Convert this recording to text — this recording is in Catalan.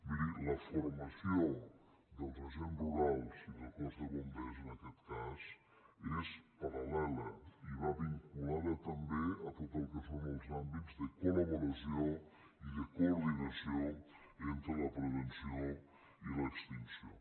miri la formació dels agents rurals i del cos de bombers en aquest cas és parallada també a tot el que són els àmbits de col·de coordinació entre la prevenció i l’extinció